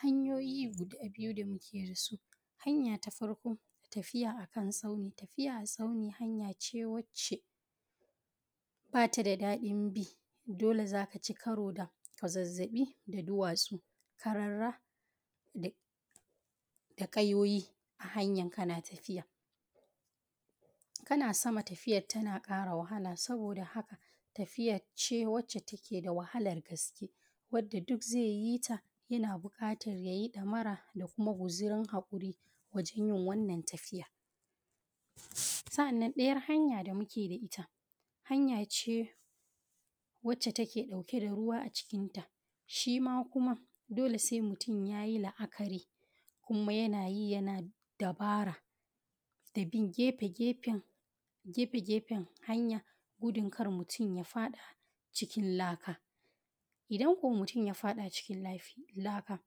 Hanyoyi guda biyu damuke dasu. Hanya ta farko tafiya akan tsauni. Tafiya akan tsauni tafiyace wacce, bata da daɗin bi. dole za’aci karo da kwazazzabi da duwatsu. Karara de da kayoyi. a hanyan kana tafiya. Kana sama tafiyar tana ƙara wahala. Saboda, haka tafiyace wacche take da wahalar gaske. Wanda duk zai yita yana buƙatar yayi damara. Dakuma guzurn haƙur wajan yin wannan tafiya. Sa’annan dayar hanya damuke da’ita. Hanya ce wacce, tak dauke da ruwa a cikinta. Shima kuma dole sai mutum yayi a la’akari. Kuma yanayi yana dabara. Da bin gefegefen gefegefen, hanya. Gudun kar mutum ya faɗa cikin laka. Idan ko mutum ya faɗa cikin lafi, laka.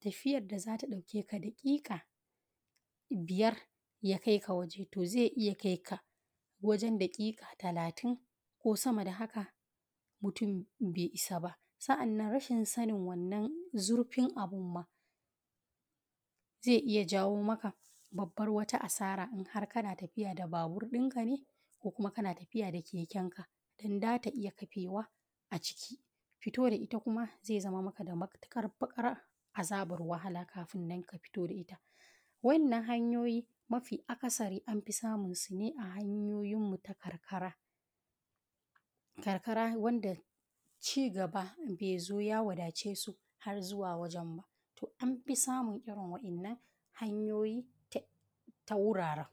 Tafiyar da zata daukeka dakika, biyar ya kaika waje. To zai iya kaika wajen daƙiƙa talatin. Ko sama da haka mutum bai isa ba. Sa’annan rashin sanin wannan zurfin abun ma. Zai iya jawomaka babbar wata asara, inhar kana tafiya da babur ɗinka ne. Kokuma kana tafiya da kekenka. don zata iya ƙafewa a ciki. Fito da itakuma, zai zama maka da matuƙar bakar azabar wahala. Kafinnan kafito da ita. Wannan hanyoyi mafi akasari anfi samun su ne, a hanyoyin mu ta karkara. Karkara wanda cigaba, bezo ya wadachesu har zuwa wajen ba. To anfi samun irin wa’innan, hanyoyi ta ta wuraren.